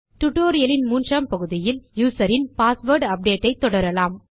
tutorial இன் மூன்றாம் பகுதியில் userன் பாஸ்வேர்ட் அப்டேட் ஐ தொடரலாம்